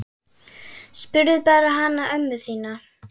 Spurðu bara hana ömmu þína!